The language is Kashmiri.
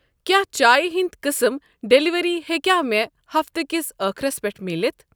کیٛاہ چایہِ ہِنٛدؠ قٕسٕم ڈیلیوری ہیٚکیٛاہ مےٚ ہفتہٕ کِس أخرَس پٮ۪ٹھ مٕلِتھ؟